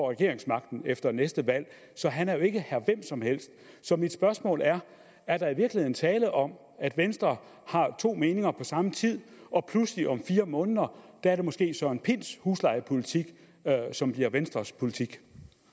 regeringsmagten efter næste valg så han er jo ikke herre hvem som helst så mit spørgsmål er er der i virkeligheden tale om at venstre har to meninger på samme tid og pludselig om fire måneder er det måske herre søren pinds huslejepolitik som bliver venstres politik